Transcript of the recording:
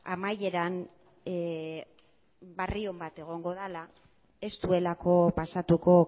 amaieran berri on bat egongo dela ez duelako pasatuko